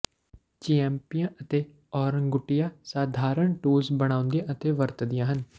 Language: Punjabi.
ਚਿੰੈਂਪੀਆਂ ਅਤੇ ਔਰੰਗੁਟੀਆਂ ਸਾਧਾਰਣ ਟੂਲਸ ਬਣਾਉਂਦੀਆਂ ਅਤੇ ਵਰਤਦੀਆਂ ਹਨ